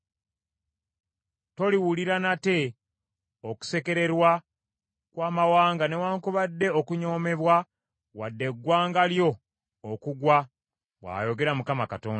Toliwulira nate okusekererwa kw’amawanga newaakubadde okunyoomebwa wadde eggwanga lyo okugwa, bw’ayogera Mukama Katonda.’ ”